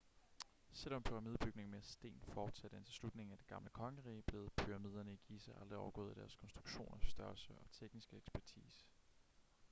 selvom pyramidebygning med sten fortsatte indtil slutningen af det gamle kongerige blev pyramiderne i giza aldrig overgået i deres konstruktioners størrelse og tekniske ekspertise